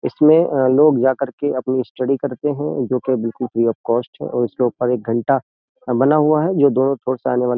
इसमें अ लोग जा करके अपनी स्टडी करते हैं। जो कि बिलकुल फ्री ऑफ कॉस्ट है उसके ऊपर एक घंटा बना हुआ है जो दोनों ओर से आने वाली --